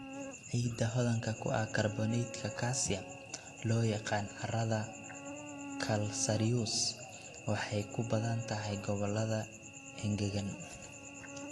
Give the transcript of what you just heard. Ciidda hodanka ku ah kaarboonaytka calcium, loo yaqaan carrada calcareous, waxay ku badan tahay gobollada engegan.